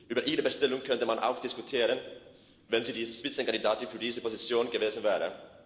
Über ihre Bestellung könnte man auch diskutieren, wenn sie die Spitzenkandidatin für diese Position gewesen wäre.